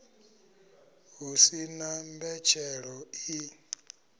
hu si na mbetshelo i